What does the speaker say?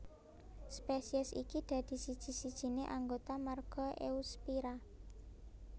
Spesies iki dadi siji sijine anggota marga Eusphyra